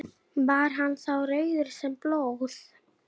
Baldína, hvað er lengi opið í HR?